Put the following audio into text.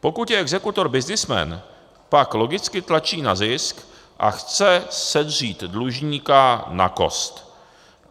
Pokud je exekutor byznysmen, pak logicky tlačí na zisk a chce sedřít dlužníka na kost.